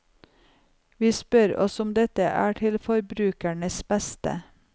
Vi spør oss om dette er til forbrukernes beste.